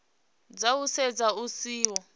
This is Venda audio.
dza u setsha hu siho